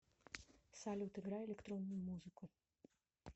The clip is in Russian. салют играй электронную музыку